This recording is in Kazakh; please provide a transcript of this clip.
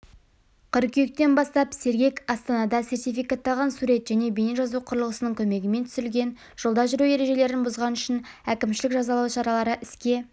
қыркүйектен бастап сергек астанада сертификатталған сурет және бейне жазу құрылғысының көмегімен түсірілген жолда жүру ережелерін бұзған үшін әкімшілік жазалау шаралары іске